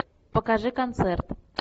покажи концерт